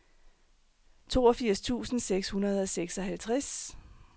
toogfirs tusind seks hundrede og seksoghalvtreds